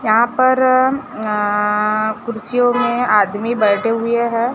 यहां पर अं कुर्सियों में आदमी बैठे हुए हैं।